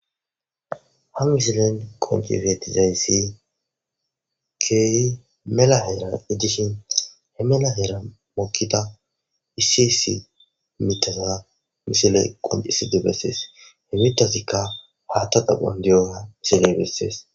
ha misilen qonci fetizayssi keehi melaheera ijdishin he melaheera mokkida issi issi mitasa misile qoncisi di bessees he mitasikka haatta daphon diyoha misiley bessees